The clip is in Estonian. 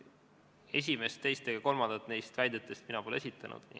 Esimest, teist ega kolmandat neist väidetest mina pole esitanud.